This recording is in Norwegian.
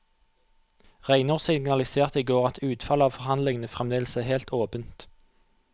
Reinås signaliserte i går at utfallet av forhandlingene fremdeles er helt åpent.